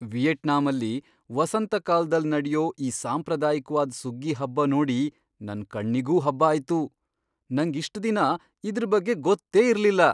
ವಿಯೆಟ್ನಾಮಲ್ಲಿ ವಸಂತಕಾಲ್ದಲ್ ನಡ್ಯೋ ಈ ಸಾಂಪ್ರದಾಯಿಕ್ವಾದ್ ಸುಗ್ಗಿ ಹಬ್ಬ ನೋಡಿ ನನ್ ಕಣ್ಣಿಗೂ ಹಬ್ಬ ಆಯ್ತು! ನಂಗ್ ಇಷ್ಟ್ ದಿನ ಇದ್ರ್ ಬಗ್ಗೆ ಗೊತ್ತೇ ಇರ್ಲಿಲ್ಲ.